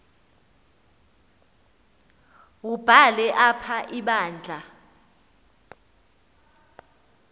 wubhale apha ibandla